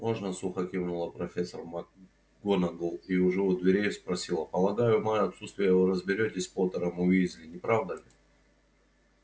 можно сухо кивнула профессор макгонагалл и уже у дверей спросила полагаю в моё отсутствие вы разберётесь с поттером и уизли не правда ли